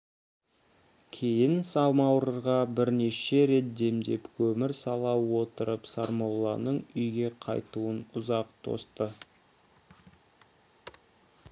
кейін самауырға бірнеше рет демдеп көмір сала отырып сармолланың үйге қайтуын ұзақ тосты